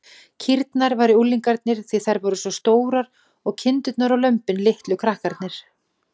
Kýrnar væru unglingarnir, því þær væru svo stórar, og kindurnar og lömbin litlu krakkarnir.